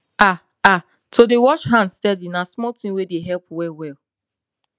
ah ahto dey wash hand steady na small thing wey dey help well well